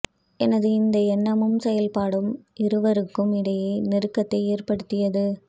எனது இந்த எண்ணமும் செயல்பாடும் இருவருக்கும் இடையே நெருக்கத்தை ஏற்படுத்தியது